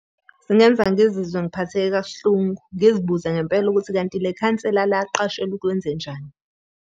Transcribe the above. Singenza ngizizwe ngiphatheke kakuhlungu, ngizibuze ngempela ukuthi kanti le khansela laqashelwa ukwenzenjani.